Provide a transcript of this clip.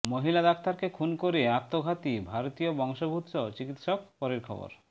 মহিলা ডাক্তারকে খুন করে আত্মঘাতী ভারতীয় বংশোদ্ভূত চিকিৎসক পরের খবর